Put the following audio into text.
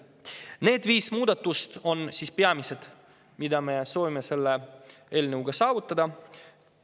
Need viis muudatust on peamised, mida me soovime selle eelnõuga saavutada.